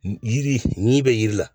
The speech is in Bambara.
Jiri ɲi bɛ jiri la